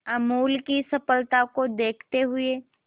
अमूल की सफलता को देखते हुए